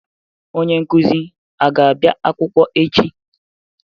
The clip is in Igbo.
Onye nkụzi a ga-abị akwụkwọ echi?